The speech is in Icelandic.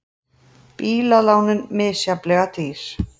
Bílalánin misjafnlega dýr